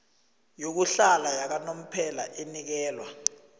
yokuhlala yakanomphela inikelwa